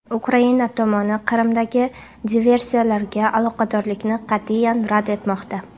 Ukraina tomoni Qrimdagi diversiyalarga aloqadorlikni qat’iyan rad etmoqda.